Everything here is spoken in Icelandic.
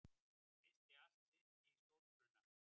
Missti allt sitt í stórbruna